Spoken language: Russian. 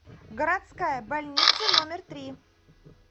городская больница номер три